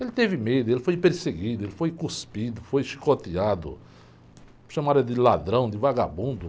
Ele teve medo, ele foi perseguido, ele foi cuspido, foi chicoteado, chamaram ele de ladrão, de vagabundo.